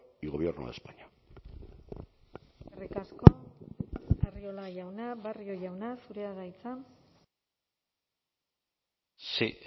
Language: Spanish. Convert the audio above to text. y gobierno de españa eskerrik asko arriola jauna barrio jauna zurea da hitza sí